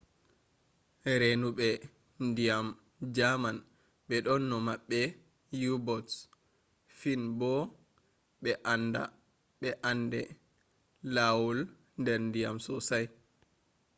renube ndyan german be do dona mabbe u-boats.fin bo be ande lawaul der ndiyam sosai